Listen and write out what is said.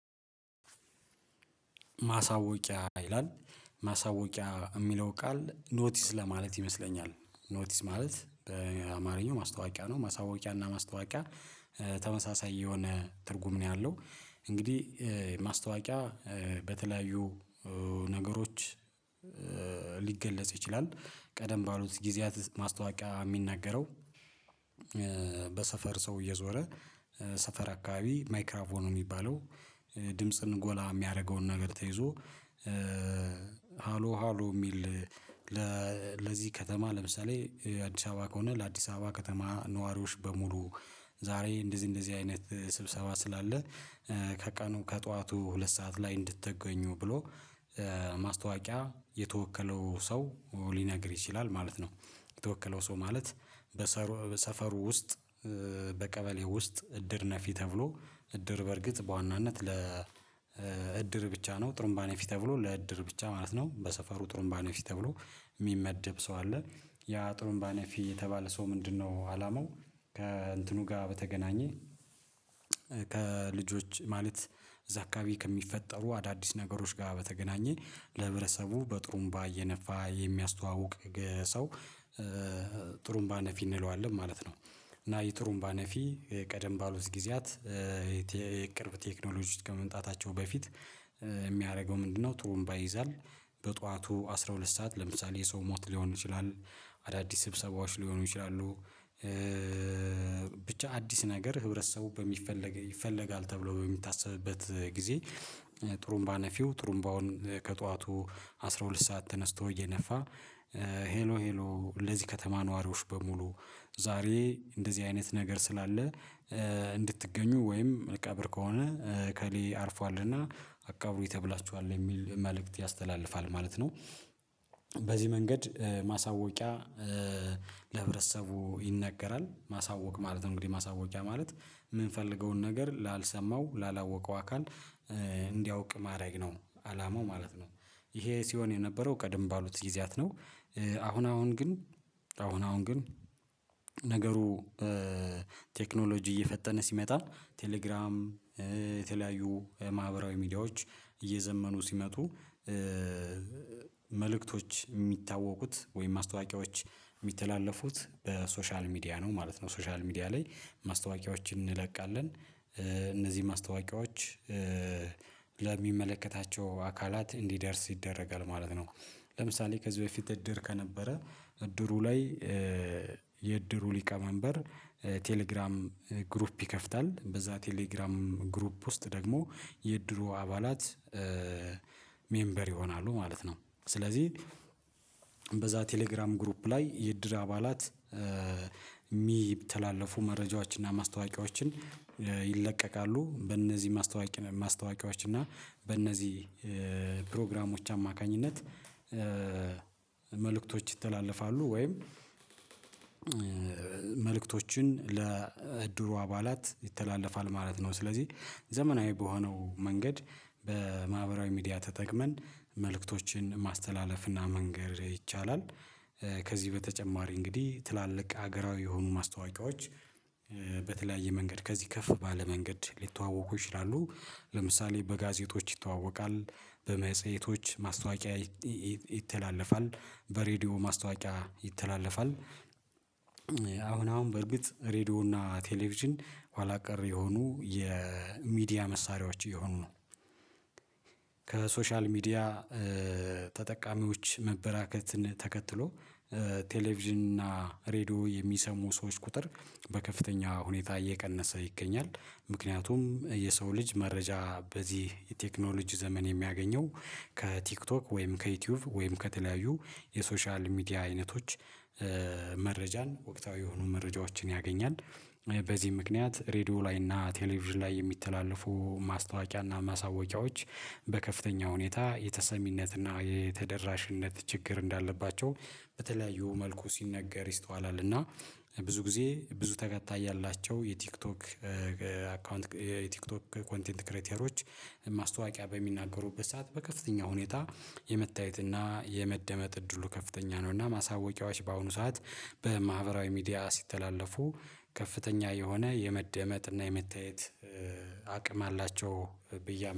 ማሳወቂያ ይላል ማሳወቂያ የሚለው ቃል ኖቲስ ለማለት ይመስለኛል ኖቲስ ማለት በአማርኛው ማስታወቂያ ነው ማሳወቂያ እና ማስታወቂያ ተመሳሳይ የሆነ ትርጉም ነው ያለው እንግዲህ ማስታወቂያ በተለያዩ ነገሮች ሊገለጽ ይችላል ቀደም ባሉት ጊዜያት ማስታወቂያ የሚናገረው በሰፈር ሰው እየዞረ ሰፈር አካባቢ ማይክራፎን ነው የሚባለው ድምጽን ጎላ የሚያደርገውን ነገር ተይዞ ሃሎ ሃሎ የሚል ለዚህ ከተማ ለምሳሌ አዲስ አበባ ከሆነ ለአዲስ አበባ ከተማ ነዋሪዎች በሙሉ ዛሬ እንደዚህ እንደዚህ አይነት ስብሰባ ስላለ ከቀኑ ከጠዋቱ ሁለት ሰዓት ላይ እንድትገኙ ብሎ ማስታወቂያ የተወከለው ሰው ሊነግር ይችላል ማለት ነው የተወከለው ሰው ማለት በሰፈሩ ውስጥ በቀበሌ ውስጥ እድር ነፊ ተብሎ እድር በእርግጥ በዋናነት ለ ብቻ ነው ጥሩምባ ነፊ ተብሎ ለእድር ብቻ ማለት ነው በሰፈሩ ጥሩምባ ነፊ ተብሎ የሚመደብ ሰው አለ ያ ጥሩንባ ነፊ የተባለ ሰው ምንድነው አላማው ከእንትኑ ጋር በተገናኘ ከልጆች ማለት እዛ አካባቢ ከሚፈጠሩ አዳዲስ ነገሮች ጋር በተገናኘ ለህብረሰቡ በጥሩምባ እየነፋ የሚያስተዋውቅ ሰው ጥሩምባ ነፊ እንለዋለን ማለት ነው እና የጥሩምባ ነፊ ቀደም ባሉት ጊዜያት የቅርብ ቴክኖሎጂ ውስጥ ከመምጣታቸው በፊት የሚያደርገው ምንድነው ጥሩምባ ይዛል። በጧቱ አስራ ሁለት ሰዓት ለምሳሌ የሰው ሞት ሊሆን ይችላል አዳዲስ ስብሰባዎች ሊሆኑ ይችላሉ ብቻ አዲስ ነገር ህብረተሰቡ በሚፈለግ ይፈለጋል ተብሎ በሚታሰብበት ጊዜ ጥሩምባ ነፊው ጥሩምባውን ከጧቱ አስራ ሁለት ሰዓት ተነስቶ እየነፋ ሄሎ ሄሎ ለዚህ ከተማ ነዋሪዎች በሙሉ ዛሬ እንደዚህ አይነት ነገር ስላለ እንድትገኙ ወይም ቀብር ከሆነ እከሌ አርፏልና አቃብሩኝ ተብላችኋል የሚል መልእክት ያስተላልፋል ማለት ነው። በዚህ መንገድ ማሳወቂያ ለህብረተሰቡ ይነገራል ማሳወቅ ማለት ነው እንግዲህ ማሳወቂያ ማለት የምንፈልገውን ነገር ላልሰማው ላላወቀው አካል እንዲያውቅ ማድረግ ነው አላማው ማለት ነው ይሄ ሲሆን የነበረው ቀደም ባሉት ጊዜያት ነው። አሁን አሁን ግን አሁን አሁን ግን ነገሩ ቴክኖሎጂ እየፈጠነ ሲመጣ ቴሌግራም የተለያዩ ማህበራዊ ሚዲያዎች እየዘመኑ ሲመጡ መልእክቶች የሚታወቁት ወይም ማስታዋቂዎች የሚተላለፉት በሶሻል ሚዲያ ነው ማለት ነው ሶሻል ሚዲያ ላይ ማስታወቂያዎችን እንለቃለን እነዚህ ማስታወቂያዎች ለሚመለከታቸው አካላት እንዲደርስ ይደረጋል ማለት ነው ለምሳሌ ከዚህ በፊት እድር ከነበረ እድሩ ላይ የእድሩ ሊቀመንበር ቴሌግራም ግሩፕ ይከፍታል በዛ ቴሌግራም ግሩፕ ውስጥ ደግሞ የድሮ አባላት ሜምበር ይሆናሉ ማለት ነው ስለዚህ በዛ ቴሌግራም ግሩፕ ላይ የእድር አባላት የሚተላለፉ መረጃዎችን እና ማስታወቂያዎችን ይለቀቃሉ በእነዚህ ማስታወቂያዎች እና በእነዚህ ፕሮግራሞች አማካኝነት መልእክቶች ይተላለፋሉ ወይም መልእክቶችን ለእድሩ አባላት ይተላለፋል ማለት ነው ስለዚህ ዘመናዊ በሆነው መንገድ በማህበራዊ ሚዲያ ተጠቅመን መልእክቶችን ማስተላለፍና መንገር ይቻላል። ከዚህ በተጨማሪ እንግዲህ ትላልቅ ሀገራዊ የሆኑ ማስታወቂያዎች በተለያየ መንገድ ከዚህ ከፍ ባለ መንገድ ሊተዋወቁ ይችላሉ ለምሳሌ በጋዜጦች ይተዋወቃል በመጽሄቶች ማስታወቂያ ይተላለፋል በሬዲዮ ማስታወቂያ ይተላለፋል። አሁን አሁን በርግጥ ሬድዮ እና ቴሌቪዥን ኋላ ቀር የሆኑ የሚዲያ መሳሪያዎች እየሆኑ ነው። ከሶሻል ሚዲያ ተጠቃሚዎች መበራከትን ተከትሎ ቴሌቪዥን እና ሬድዮ የሚሰሙ ሰዎች ቁጥር በከፍተኛ ሁኔታ እየቀነሰ ይገኛል። ምክንያቱም የሰው ልጅ መረጃ በዚህ የቴክኖሎጂ ዘመን የሚያገኘው ከቲክቶክ ወይም ከዩቲዩብ ወይም ከተለያዩ የሶሻል ሚዲያ አይነቶች። መረጃን ወቅታዊ የሆኑ መረጃዎችን ያገኛል። በዚህ ምክንያት ሬድዮ ላይ እና ቴሌቪዥን ላይ የሚተላለፉ ማስታወቂያ እና ማሳወቂያዎች በከፍተኛ ሁኔታ የተሰሚነትና የተደራሽነት ችግር እንዳለባቸው በተለያዩ መልኩ ሲነገር ይስተዋላል እና ብዙ ጊዜ ብዙ ተከታይ ያላቸው የቲክቶክ አካውንት የቲክቶክ ኮንቴንት ክሬተሮች ማስታወቂያ በሚናገሩበት ሰዓት በከፍተኛ ሁኔታ የመታየት እና የመደመጥ እድሉ ከፍተኛ ነው እና ማሳወቂያዎች በአሁኑ ሰዓት በማህበራዊ ሚዲያ ሲተላለፉ ከፍተኛ የሆነ የመደመጥ እና የመታየት አቅም አላቸው ብዬ